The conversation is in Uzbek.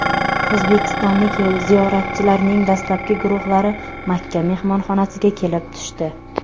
O‘zbekistonlik ziyoratchilarning dastlabki guruhlari Makka mehmonxonasiga kelib tushdi.